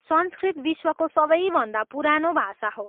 संस्कृत विश्वको सबैभन्दा पुरानो भाषा हो।